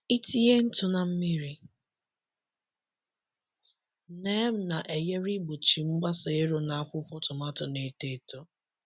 Itinye ntụ na mmiri neem na-enyere igbochi mgbasa ero n’akwụkwọ tomato na-eto eto.